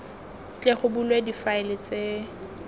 tle go bulwe difaele tse